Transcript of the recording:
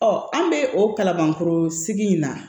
an bɛ o kalabankɔrɔ sigi in na